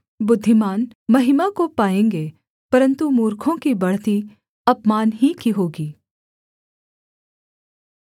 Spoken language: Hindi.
बुद्धिमान महिमा को पाएँगे परन्तु मूर्खों की बढ़ती अपमान ही की होगी